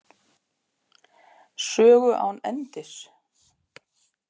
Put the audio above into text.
Sögu án endis.